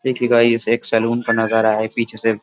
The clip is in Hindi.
देखिए गाइस एक सलून का नजारा है पीछे से --